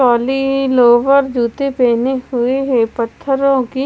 lower जूते पहने हुए हैं पत्थरों की--